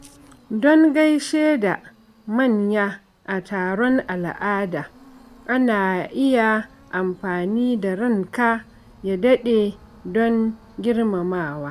Don gaishe da manya a taron al’ada, ana iya amfani da "Ranka ya daɗe", don girmamawa.